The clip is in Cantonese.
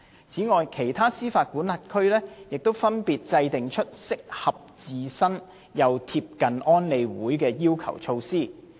此外，其他司法管轄區亦分別制訂出適合自身又貼近安理會要求的措施。